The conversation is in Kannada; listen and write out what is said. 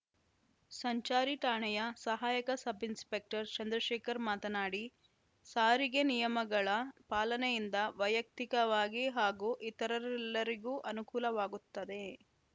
ಸಂಚಾರಿ ಠಾಣೆಯ ಸಹಾಯಕ ಸಬ್‌ಇನ್‌ಸ್ಪೆಕ್ಟರ್‌ ಚಂದ್ರಶೇಖರ್‌ ಮಾತನಾಡಿ ಸಾರಿಗೆ ನಿಯಮಗಳ ಪಾಲನೆಯಿಂದ ವೈಯಕ್ತಿಕವಾಗಿ ಹಾಗೂ ಇತರರೆಲ್ಲರಿಗೂ ಅನುಕೂಲವಾಗುತ್ತದೆ